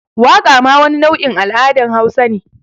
Waqa ma wani nau’in al’adan hausa ne.